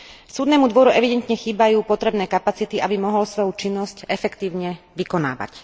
Súdnemu dvoru evidentne chýbajú potrebné kapacity, aby mohol svoju činnosť efektívne vykonávať.